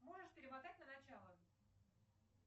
можешь перемотать на начало